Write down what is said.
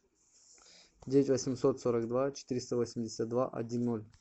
девять восемьсот сорок два четыреста восемьдесят два один ноль